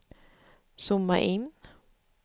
zooma in